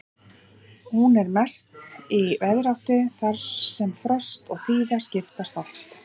Hún er mest í veðráttu þar sem frost og þíða skiptast oft á.